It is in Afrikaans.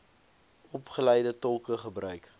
opgeleide tolke gebruik